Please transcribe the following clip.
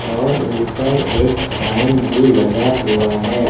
और ऊपर एक फैन भी लगा हुआ है।